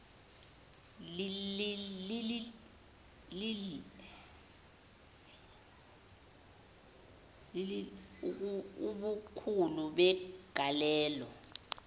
iii ubukhulu begalelo